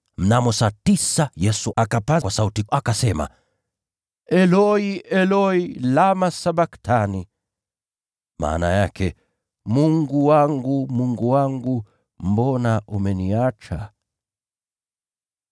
Mnamo saa tisa, Yesu akapaza sauti, akalia, “Eloi, Eloi, lama sabakthani?” (maana yake, “Mungu wangu, Mungu wangu, mbona umeniacha?” )